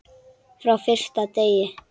Frá fyrsta degi.